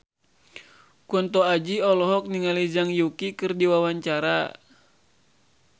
Kunto Aji olohok ningali Zhang Yuqi keur diwawancara